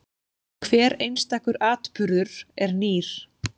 Hver einstakur atburður er nýr.